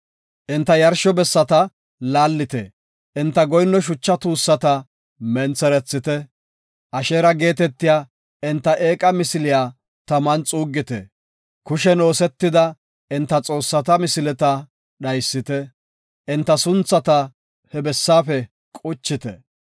Enta yarsho bessata laallite; enta goyinno shucha tuussata mentherethite. Asheera geetetiya enta eeqa misiliya taman xuuggite; kushen oosetida enta xoossata misileta dhaysite; enta sunthata he bessaafe quchite.